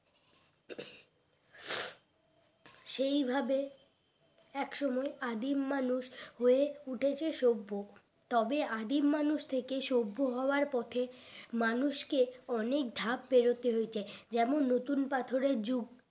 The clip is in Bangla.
সেই ভাবে এক সময় আদিম মানুষ হয়ে উঠাছে সভ্য তবে আদিম মানুষ থেকে সভ্য হওয়ার পথে মানুষকে অনেক ধাপ পেরতে হয়েছে যেমন নতুন পাথরের যুগ